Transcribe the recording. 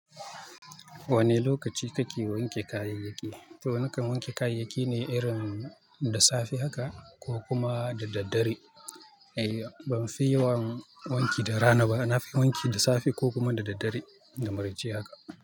Wane lokaci kake wanke kayayyaki? To nakan wanke kayayyaki ne irin da safe haka ko kuma da daddare. Eh, ban fi yawan wanki da rana ba. Na fi wanki da safe ko kuma da daddare, da maraice haka.